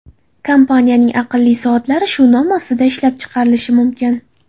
Kompaniyaning aqlli soatlari shu nom ostida ishlab chiqarilishi mumkin.